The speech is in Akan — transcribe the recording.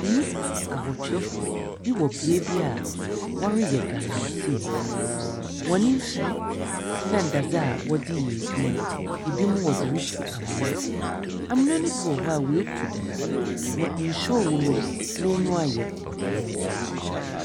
Nnipa awɔtwe bi wɔ beaeɛ bi a ɔreyɛ galamsey. Hɔn nfiri ne adadze wɔdeyɛ edwuma no ebinom wɔderetu amena. Amena no bi wɔ hɔ a, wetu dada na nsuo ɔwɔ mu no n'ani wa yɛ pɔtɔɔ.